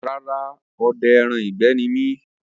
Rárá, odẹ ẹran ìgbẹ́ ni mi